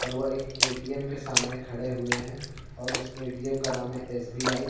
और वो एक ऐटीएम् के सामने खड़े हुए हैं और उस ऐटीएम् का नाम है एसबीआई --